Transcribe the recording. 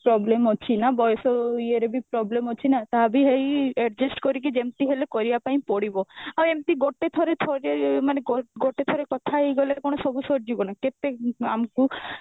problem ଅଛି ନା ବୟସ ଇଏ ରେ ବି problem ଅଛି ନା ତା ବି ହେଇ adjust କରିକି ଯେମତି ହେଲେ କରିବା ପାଇଁ ପଡିବ ଆଇ ଏମତି ଗୋଟେ ଥର ଥରେ ମାନେ ଗୋ ଗୋଟେ ଥର କଥା ହେଇଗଲେ କଣ ସବୁ ସରିଯିବ ନା କେତେ ଆମକୁ